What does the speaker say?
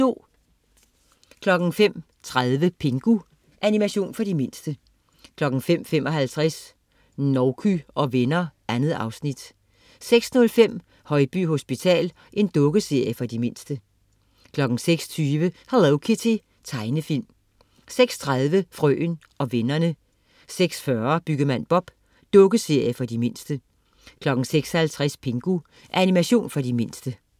05.30 Pingu. Animation for de mindste 05.55 Nouky og venner. 2 afsnit 06.05 Højby hospital. Dukkeserie for de mindste 06.20 Hello Kitty. Tegnefilm 06.30 Frøen og vennerne 06.40 Byggemand Bob. Dukkeserie for de mindste 06.50 Pingu. Animation for de mindste